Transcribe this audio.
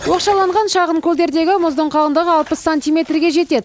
оқшаланған шағын көлдердегі мұздың қалыңдығы алпыс сантиметрге жетеді